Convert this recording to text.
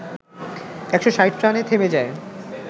১৬০ রানে থেমে যায়